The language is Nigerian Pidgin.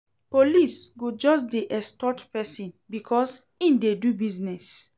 Police go just dey extort pesin because im dey do business.